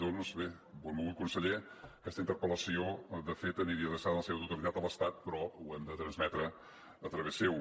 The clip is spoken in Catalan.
doncs bé benvolgut conseller aquesta interpel·lació de fet aniria adreçada en la seva totalitat a l’estat però ho hem de transmetre a través seu